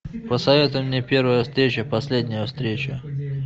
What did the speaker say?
посоветуй мне первая встреча последняя встреча